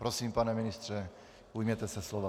Prosím, pane ministře, ujměte se slova.